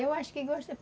Eu acho que